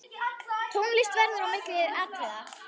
Tónlist verður á milli atriða.